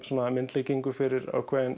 myndlíkingu fyrir